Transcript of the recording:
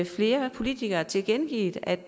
flere politikere har tilkendegivet at